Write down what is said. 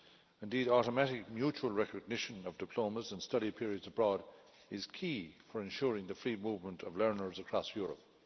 Indeed, automatic mutual recognition of diplomas and study periods abroad is key for ensuring the free movement of learners across Europe.